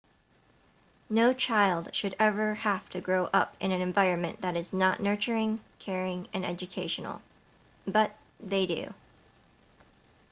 no child should ever have to grow up in an environment that is not nurturing caring and educational but they do